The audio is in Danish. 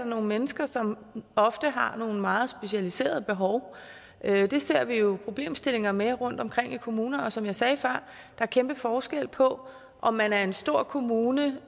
nogle mennesker som ofte har nogle meget specialiserede behov det ser vi jo problemstillinger med rundtomkring i kommunerne og som jeg sagde før er der kæmpe forskel på om man er en stor kommune